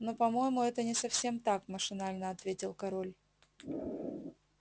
но по-моему это не совсем так машинально ответил король